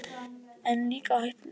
En líka hættulegir.